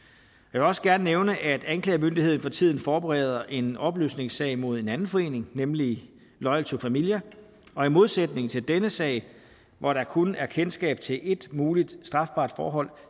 vil også gerne nævne at anklagemyndigheden for tiden forbereder en opløsningssag mod en anden forening nemlig loyal to familia og i modsætning til denne sag hvor der kun er kendskab til ét muligt strafbart forhold